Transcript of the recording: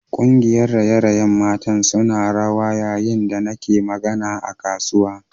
Kungiyar raye-rayen mata suna rawa yayin da nake magana a kasuwa